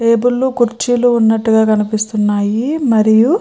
టేబుళ్లు కుర్చీలు ఉన్నట్టుగా కనిపిస్తున్నాయి. మరియు --